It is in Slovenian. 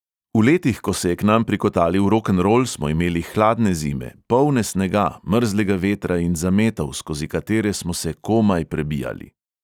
V letih, ko se je k nam prikotalil rokenrol, smo imeli hladne zime, polne snega, mrzlega vetra in zametov, skozi katere smo se komaj prebijali.